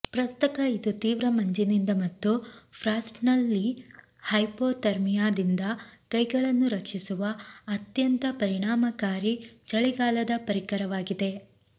ಪ್ರಸಕ್ತ ಇದು ತೀವ್ರ ಮಂಜಿನಿಂದ ಮತ್ತು ಫ್ರಾಸ್ಟ್ನಲ್ಲಿ ಹೈಪೋಥರ್ಮಿಯಾದಿಂದ ಕೈಗಳನ್ನು ರಕ್ಷಿಸುವ ಅತ್ಯಂತ ಪರಿಣಾಮಕಾರಿ ಚಳಿಗಾಲದ ಪರಿಕರವಾಗಿದೆ